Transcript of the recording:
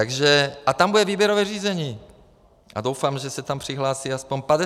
A tam bude výběrové řízení a doufám, že se tam přihlásí alespoň 50 lidí.